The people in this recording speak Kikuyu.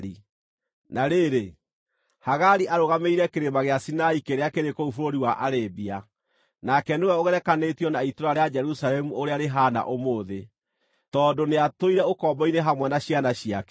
Na rĩrĩ, Hagari arũgamĩrĩire Kĩrĩma gĩa Sinai kĩrĩa kĩrĩ kũu bũrũri wa Arabia, nake nĩwe ũgerekanĩtio na itũũra rĩa Jerusalemu ũrĩa rĩhaana ũmũthĩ, tondũ nĩatũire ũkombo-inĩ hamwe na ciana ciake.